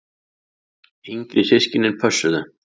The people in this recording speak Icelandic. Yngri systkinin pössuðu.